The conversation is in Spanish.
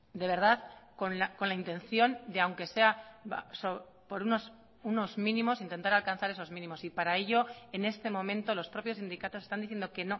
de verdad con la intención de aunque sea por unos mínimos intentar alcanzar esos mínimos y para ello en este momento los propios sindicatos están diciendo que